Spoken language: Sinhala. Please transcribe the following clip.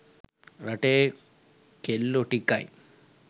රටේ කෙල්ලෝ ටිකයි